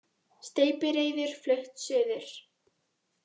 Steypireyður flutt suður